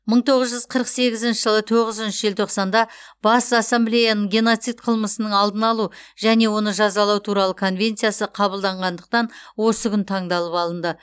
мың тоғыз жүз қырық сегізінші жылы тоғызыншы желтоқсанда бас ассамблеяның геноцид қылмысының алдын алу және оны жазалау туралы конвенциясы қабылданғандықтан осы күн таңдалып алынды